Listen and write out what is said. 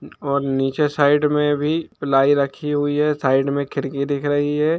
और नीचे साइड मे भी प्लाई रखी हुई है साइड मे खिड़की दिख रखी हुई है।